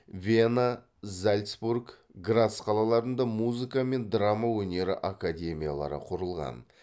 вена зальцбург грац қалаларында музыка мен драма өнері академиялары құрылған